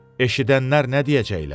Eşidənlər nə deyəcəklər?